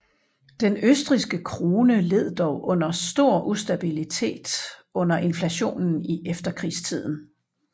Den østrigske krone led dog under stor ustabilitet under inflationen i efterkrigstiden